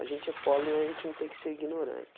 A gente é pobre, mas a gente não tem que ser ignorante.